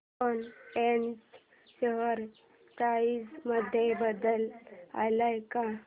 Swan energy share price मध्ये बदल आलाय का